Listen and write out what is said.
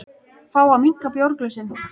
Fá að minnka bjórglösin